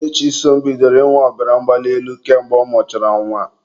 Nne Chisom bidoro ịnwe ọbara mgbali elu ka mgbe ọ mụsịrị nwa